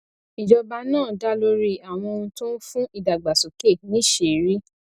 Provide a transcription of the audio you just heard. ìjọba náà dá lórí àwọn ohun tó ń fún ìdàgbàsókè níṣìírí